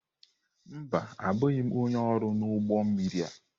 Mba, abụghị m onye ọrụ n'ụgbọ mmiri a.